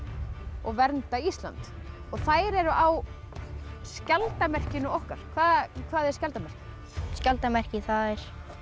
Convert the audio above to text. og vernda Ísland þær eru á skjaldarmerkinu okkar hvað hvað er skjaldarmerki skjaldarmerki það er